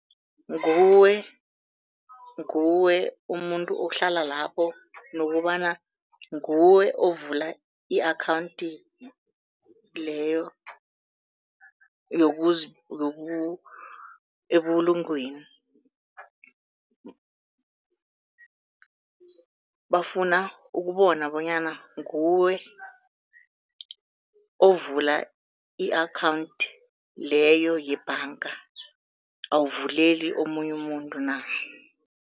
Nguwe, nguwe umuntu ohlala lapho nokobana nguwe ovula i-akhawunthi leyo ebulungweni. Bafuna ukubona bonyana nguwe ovula i-akhawunthi leyo yebhanga, awuvuleli omunye umuntu na.